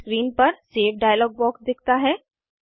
screen पर save dialog box दिखता है